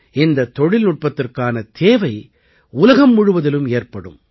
இந்தத் தொழில்நுட்பத்திற்கான தேவை உலகம் முழுவதிலும் ஏற்படும்